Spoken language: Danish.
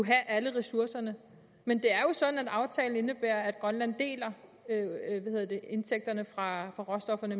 have alle ressourcerne men det er jo sådan at aftalen indebærer at grønland deler indtægterne fra råstofferne